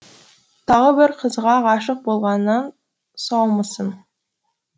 тағы бір қызға ғашық болғаннан саумысың